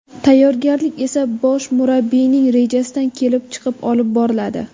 Tayyorgarlik esa bosh murabbiyning rejasidan kelib chiqib olib boriladi.